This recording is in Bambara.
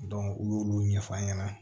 u y'olu ɲɛfɔ a ɲɛna